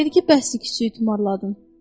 Dedi ki, bəs kiçiyi tumarladın.